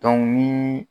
ni